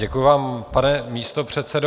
Děkuji vám, pane místopředsedo.